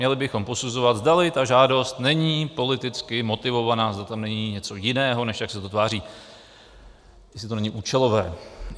Měli bychom posuzovat, zdali ta žádost není politicky motivovaná, zda tam není něco jiného, než jak se to tváří, jestli to není účelové.